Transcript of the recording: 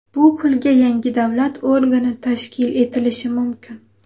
Bu pulga yangi davlat organi tashkil etilishi mumkin.